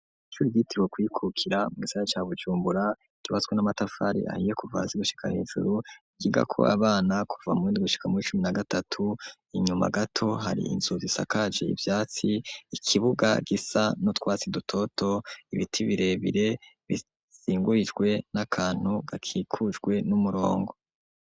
ishure ryitiriwe kwikukira mu gisagara ca Bujumbura, ryubatswe n'amatafari ahiye kuva hasi gushika hejuru, ryigako abana kuva mu w'indwi gushika muw'icumi na gatatu, inyuma gato hari inzu zisakaje ivyatsi ikibuga gisa n'utwasi dutoto, ibiti birebire bisingurijwe n'akantu gakikujwe n'umurongo.